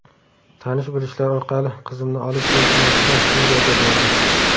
Tanish-bilishlar orqali qizimni olib kelish niyatida Suriyaga bordik.